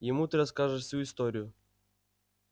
ему ты расскажешь всю историю